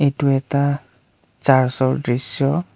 এইটো এটা চাৰ্চ ৰ দৃশ্য।